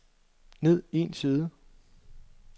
ned en side